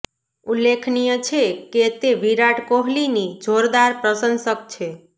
ઉલ્લેખનીય છે કે તે વિરાટ કોહલીની જોરદાર પ્રશંસક છે